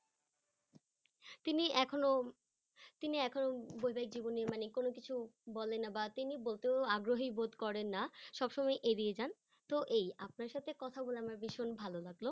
তিনি এখনো তিনি এখনো বৈবাহিক জীবনে মানে কোনো কিছু বলেন না বা তিনি বলতেও আগ্রহী বোধ করেন না সবসময় এড়িয়ে যান তো এই আপনার সাথে কথা বলে আমার ভীষণ ভালো লাগলো।